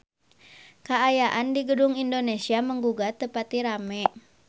Kaayaan di Gedung Indonesia Menggugat teu pati rame